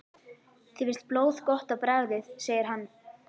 Þér finnst blóð gott á bragðið segir hann.